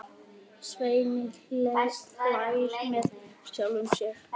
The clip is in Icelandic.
Svenni hlær með sjálfum sér.